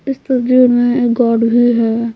इस तस्वीर में एक गार्ड भी है।